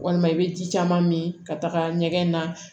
Walima i bɛ ji caman min ka taga ɲɛgɛn na